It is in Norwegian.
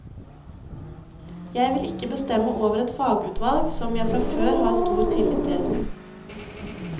Jeg vil ikke bestemme over et fagutvalg som jeg fra før har stor tillit til.